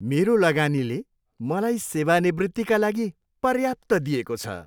मेरो लगानीले मलाई सेवानिवृत्तिका लागि पर्याप्त दिएको छ।